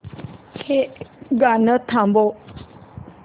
हे गाणं थांबव